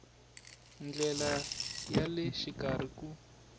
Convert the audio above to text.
ndlela ya le xikarhi ku